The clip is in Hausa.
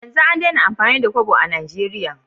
Yanzu an Daina amfani da Kobo a nigeria